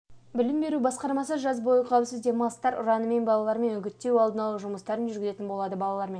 білім беру басқармасы жаз бойы қауіпсіз демалыстар ұранымен балармен үгіттеу алдын алу жұмыстарын жүргізетін болады балалар